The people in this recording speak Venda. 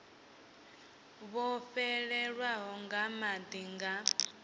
vho fhelelwaho nga madi nga